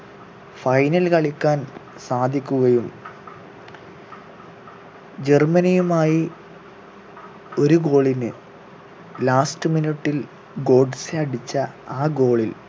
final കളിക്കാൻ സാധിക്കുകയും ജർമ്മനിയുമായി ഒരു goal ന് last minute ൽ ഗോട്സെ അടിച്ച ആ goal ൽ